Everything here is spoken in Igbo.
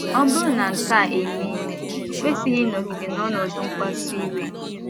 Ọ bụrụ na nke a emee, o kwesịghị ịnọgide n’ọnọdụ mkpasu iwe.